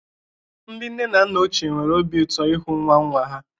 Ndị nne na nna ochie nwere obi ụtọ ịhụ nwa nwa ha.